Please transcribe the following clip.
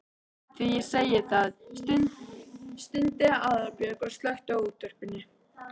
Því segi ég það. stundi Aðalbjörg og slökkti á útvarpinu.